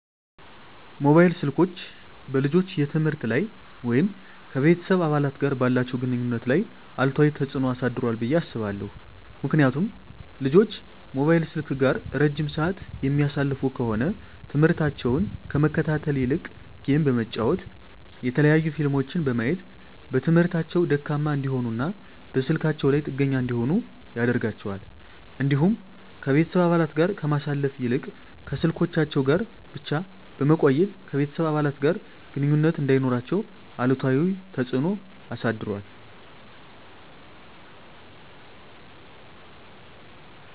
መሞባይል ስልኮች በልጆች የትምህርት ላይ ወይም ከቤተሰብ አባላት ጋር ባላቸው ግንኙነት ላይ አሉታዊ ተጽዕኖ አሳድሯል ብየ አስባለሁ። ምክንያቱም ልጆች ሞባይል ስልክ ጋር እረጅም ስዓት የሚያሳልፉ ከሆነ ትምህርሞታቸውን ከመከታተል ይልቅ ጌም በመጫወት የተለያዩ ፊልሞችን በማየት በትምህርታቸው ደካማ እንዲሆኑና በስልካቸው ላይ ጥገኛ እንዲሆኑ ያደርጋቸዋል። እንዲሁም ከቤተሰብ አባለት ጋር ከማሳለፍ ይልቅ ከስልኮቻቸው ጋር ብቻ በመቆየት ከቤተሰብ አባለት ጋር ግንኙነት እንዳይኖራቸው አሉታዊ ተፅዕኖ አሳድሯል።